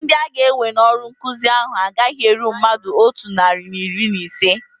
Ndị aga-ewe n'ọrụ nkụzi ahu agaghị eru mmadụ otu narị na iri na ise